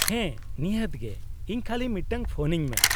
-ᱦᱮᱸ ᱱᱤᱦᱟᱹᱛ ᱜᱮ ! ᱤᱧ ᱠᱷᱟᱞᱤ ᱢᱤᱫᱴᱟᱝ ᱯᱷᱚᱱᱟᱹᱧ ᱢᱮ ᱾